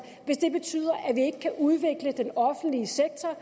hvis det betyder at vi ikke kan udvikle den offentlige sektor